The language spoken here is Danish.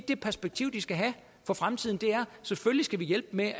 det perspektiv de skal have for fremtiden selvfølgelig skal vi hjælpe med